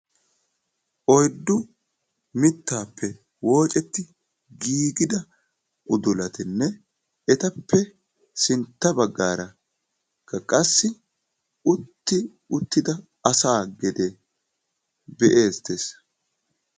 Oyddu mittappe woocceti giigida udulatinne etappe sintta baggaara qassi utti uttida asaa gedee be'ettees.